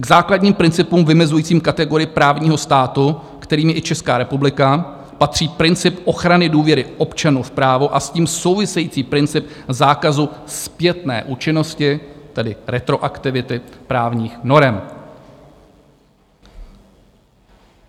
K základním principům vymezujícím kategorii právního státu, kterým je i Česká republika, patří princip ochrany důvěry občanů v právo a s tím související princip zákazu zpětné účinnosti, tedy retroaktivity právních norem.